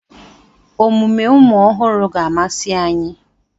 Omume ụmụ ọhụrụ ga-amasị anyị.